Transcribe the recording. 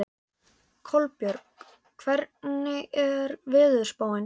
Kolbjörg, hvernig er veðurspáin?